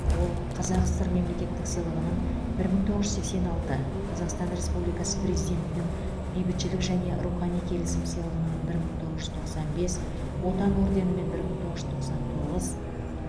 ол қазсср мемлекеттік сыйлығының бір мың тоғыз жүз сексен алты қазақстан республикасы президентінің бейбітшілік және рухани келісім сыйлығының бір мың тоғыз жүз тоқсан бес отан орденімен бір мың тоғыз жүз тоқсан тоғыз